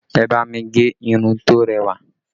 Ẹ bá mi gẹ irun to rẹwà